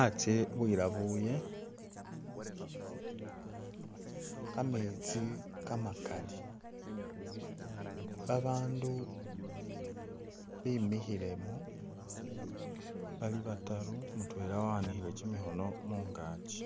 Atsye bwelabule, kametsi kamakali, babandu bemikhilemo bali bataru mutwela waanikhile kimikhono mungachi